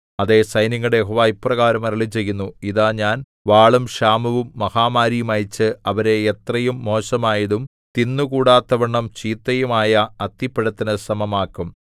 അതേ സൈന്യങ്ങളുടെ യഹോവ ഇപ്രകാരം അരുളിച്ചെയ്യുന്നു ഇതാ ഞാൻ വാളും ക്ഷാമവും മഹാമാരിയും അയച്ച് അവരെ എത്രയും മോശമായതും തിന്നുകൂടാത്തവണ്ണം ചീത്തയും ആയ അത്തിപ്പഴത്തിനു സമമാക്കും